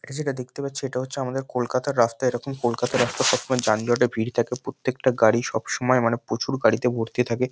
এটা যেটা দেখতে পাচ্ছি এটা হচ্ছে আমাদের কলকাতার রাস্তা। এরকম কলকাতার রাস্তায়সব সময় যানজটে ভিড় থাকে প্রত্যেকটা গাড়ি সব সময় মানে প্রচুর গাড়িতে ভর্তি থাকে।